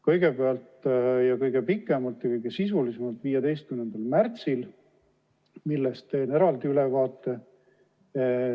Kõigepealt ja kõige pikemalt ja sisulisemalt 15. märtsil, millest teen eraldi ülevaate.